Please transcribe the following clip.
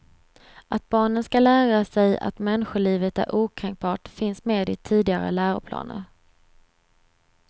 Att barnen skall lära sig att människolivet är okränkbart finns med i tidigare läroplaner.